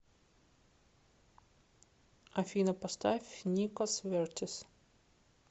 афина поставь никос вертис